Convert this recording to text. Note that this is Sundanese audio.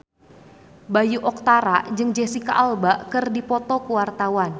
Bayu Octara jeung Jesicca Alba keur dipoto ku wartawan